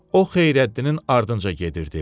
O Xeyrəddinin ardınca gedirdi.